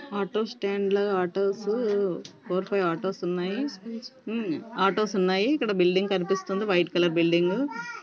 Auto stand లో autos four five autos ఉన్నాయి హ్మ్మ్ ఆటో స్ ఉన్నాయి . ఇక్కడ బిల్డింగ్ కనిపిస్తుంది .వైట్ కలర్ బిల్డింగ్ --